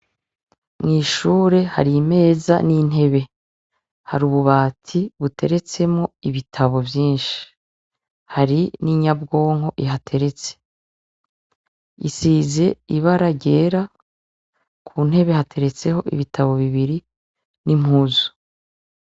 Mw'ishure hari imeza n'intebe hari ububati buteretsemo ibitabo vyinshi hari n'inyabwonko ihateretse isize ibara ryera ku ntebe hateretseho ibitabo bibiri n'impuzu.